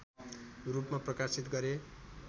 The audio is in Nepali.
रूपमा प्रकाशित गरे